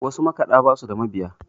wasu makaɗa ba su da mabiya